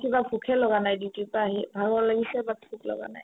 কিবা ভোকে লগা নাই duty ৰ পৰা আহি ভাগৰ লাগিছে but ভোকে লগা নাই